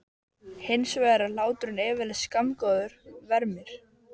Hins vegar er hláturinn yfirleitt skammgóður vermir.